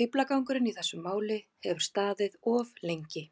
Fíflagangurinn í þessu máli hefur staðið of lengi.